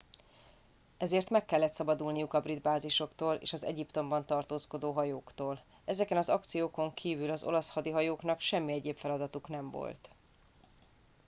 ezért meg kellett szabadulniuk a brit bázisoktól és az egyiptomban tartózkodó hajóktól ezeken az akciókon kívül az olasz hadihajóknak semmi egyéb feladatuk nem volt